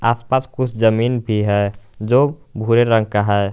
आस पास कुछ जमीन भी है जो भूरे रंग का है।